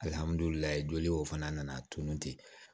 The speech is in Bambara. Alihamdulila joli o fana nana tunu ten